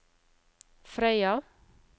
Frøya